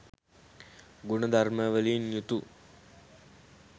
ගුණ ධර්මවලින් යුතු